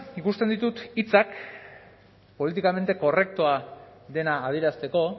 ikusten ditut hitzak políticamente correctoa dena adierazteko